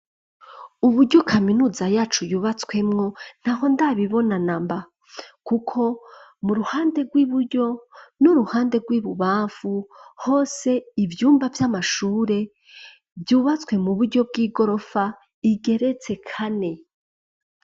Uburyo kaminuza yacu yubatswemwo ,ntaho ndabibona namba. Kuko mu ruhande rw'iburyo, n'Uruhande rw'Ibubamfu ,hose ivyumba vy'Amashure vyubatswe mu buryo bw'igorofa, igeretse kane.